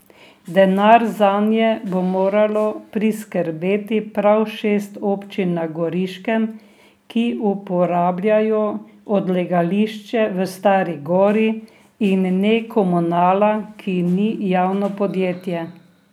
Denar zanje bo moralo priskrbeti prav šest občin na Goriškem, ki uporabljajo odlagališče v Stari Gori, in ne Komunala, ki ni javno podjetje.